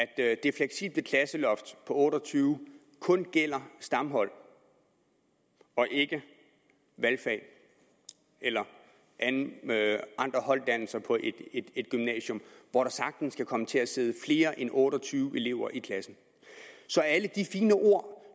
at det fleksible klasseloft på otte og tyve kun gælder stamhold og ikke valgfag eller andre holddannelser på et gymnasium hvor der sagtens kan komme til at sidde flere end otte og tyve elever i klassen så alle de fine ord